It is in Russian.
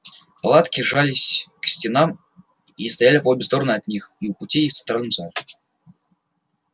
палатки жались к стенам и стояли по обе стороны от них и у путей и в центральном зале